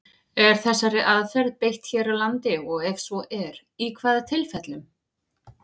Er þessari aðferð beitt hér á landi, og ef svo er, í hvaða tilfellum?